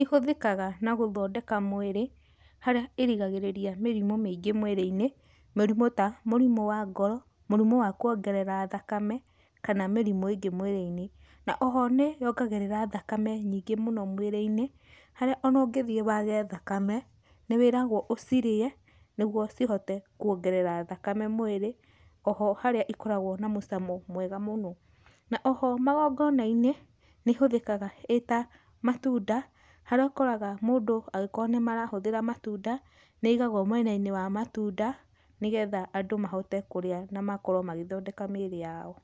Ihũthĩkaga na gũthondeka mwĩrĩ harĩa ĩrigagĩrĩria mĩrimũ mĩingĩ mwĩrĩinĩ, mũrimũ ta mũrimũ wa ngoro, mũrimu wa kuongerera thakame kana mĩrimũ ĩngĩ mwĩrĩinĩ. Na oho nĩ yongagĩrĩra thakame nyingĩ mũno mwĩrĩinĩ harĩa ona ũgĩthiĩ wage thakame nĩ wĩragwo ũcirĩe nĩguo cihote kuongerera thakame mwĩrĩ oho harĩa ikoragwo na mũcamo mwega mũno. Na oho magongonainĩ nĩ ĩhũthĩkaga ĩta matunda harĩa ũkoraga mũndũ angĩkorwo nĩ marahũthĩra matunda nĩ ĩigagwo mwenainĩ wa matunda nĩgetha andũ mahote kũrĩa na makorwo magĩthondeka míĩrĩ yao.